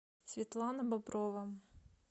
светлана боброва